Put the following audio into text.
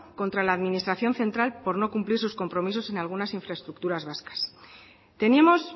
contra la administración central por no cumplir sus compromisos en algunas infraestructuras vascas tenemos